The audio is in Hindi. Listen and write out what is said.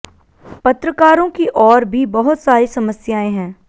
पत्रकारों की और भी बहुत सारी समस्याएं हैं